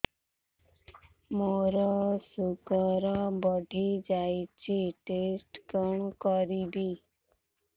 ମୋର ଶୁଗାର ବଢିଯାଇଛି ଟେଷ୍ଟ କଣ କରିବି